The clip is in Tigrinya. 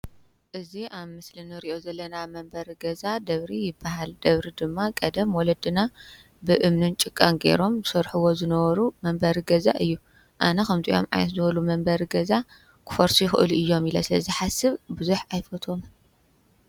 እዚ ኣብ ምስሊ እንሪኦ ዘለና መንበሪ ገዛ ደብሪ ይባሃል፡ ደብሪ ድማ ቀደም ወለድና ብእምንን ጭቃን ጌሮም ይሰርሕዎ ዝነበሩ መንበሪ ገዛ እዩ፡፡ ኣነ ከምዚኦም ዝበሉ ዓይነት መንበሪ ገዛ ክፈርሱ ይክእሉ እዮም ኢለ ስለዝሓስብ ብዙሕ ኣይፈትዎምን፡፡